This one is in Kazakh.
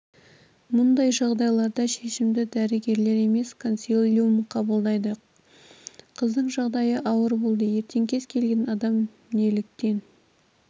мұндай жағдайларда шешімді дәрігерлер емес консилиум қабылдайды қыздың жағдайы ауыр болды ертең кез келген адам неліктен